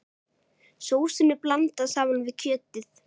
Sósunni blandað saman við kjötið.